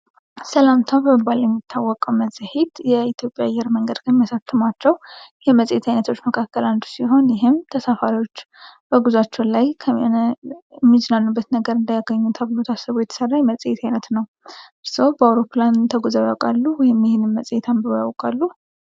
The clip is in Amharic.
ሰላምታ በመባል የሚታወቀው መጽሔት የኢትዮጵያ አየር መንገድ ከሚያሳትማቸው የመጽሔት ዓይነቶች መካከል አንዱ ሲሆን ይህም ተሳፋሪዎች በጉዛቸው ላይ ሚዝናኑበት ነገር እንዲያገኙ ተብሎ ታስቦ የተሠራ የመጽሔት ዓይነት ነው። እርስዎ በአውሮፕላን ተጉዘው ያውቃሉ ወይም ይህንን መጽሔት አንብበው ያውቃሉ?